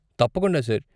తప్పకుండా, సార్.